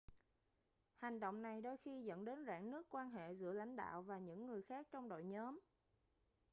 hành động này đôi khi dẫn đến rạn nứt quan hệ giữa lãnh đạo và những người khác trong đội nhóm